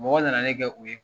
Mɔgɔw nana ne kɛ u ye.